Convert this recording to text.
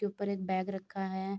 ऊपर एक बैग रखा है।